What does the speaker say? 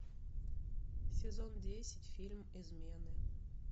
сезон десять фильм измены